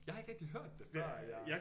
Jeg har ikke rigtig hørt det før at jeg